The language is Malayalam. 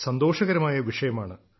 സന്തോഷകരമായ വിഷയമാണ്